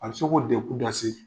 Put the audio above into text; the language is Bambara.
A bɛ se ka k'o degun dase